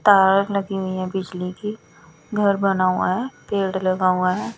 तार लगी हुई है बिजली की घर बना हुआ है पेड़ लगा हुआ है।